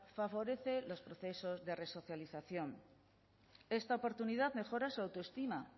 favorece los procesos de resocialización esta oportunidad mejora su autoestima